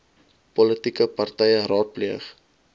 politieke partye raadpleeg